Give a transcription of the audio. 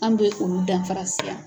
An bɛ olu danfarasiya.